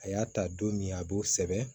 A y'a ta don min a b'o sɛbɛn